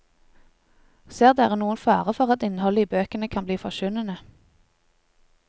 Ser dere noen fare for at innholdet i bøkene kan bli forkynnende?